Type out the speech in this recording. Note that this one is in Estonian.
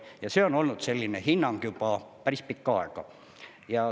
Ja see on olnud selline hinnang juba päris pikka aega.